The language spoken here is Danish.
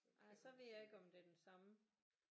Ej så ved jeg ikke om det er den samme